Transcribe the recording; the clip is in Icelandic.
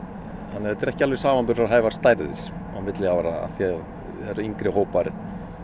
þannig þetta eru ekki alveg samanburðarhæfar stærðir á milli ára því það eru yngri hópar